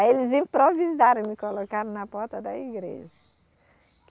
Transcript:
Aí eles improvisaram e me colocaram na porta da igreja.